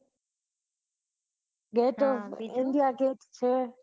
India gate છે